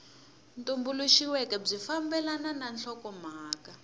tumbuluxiweke byi fambelana na nhlokomhaka